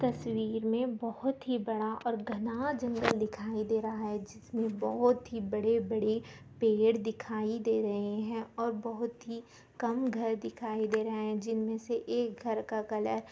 तस्वीर में बहुत ही बड़ा और घना जंगल दिखाई दे रहा है जिसमें बहुत ही बड़े- बड़े पेड़ दिखाई दे रहे है और बहुत ही कम घर दिखाई दे रहे है जिनमें से एक घर का कलर --